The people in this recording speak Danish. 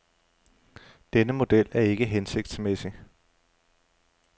Denne model er ikke hensigtsmæssig.